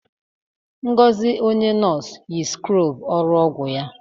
Ngozi, onye nọọsụ, yi skrọbụ ụlọ ọgwụ ya.